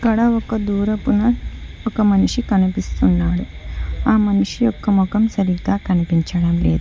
అక్కడ ఒక దూరపు నా ఒక మనిషి కనిపిస్తున్నాడు ఆ మనిషి యొక్క మొఖం సరిగ్గా కనిపించడం లేదు.